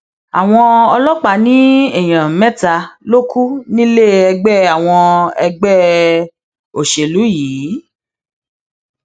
àwọn ọlọpàá ní èèyàn mẹta ló kù nílé ẹgbẹ àwọn ẹgbẹ òṣèlú yìí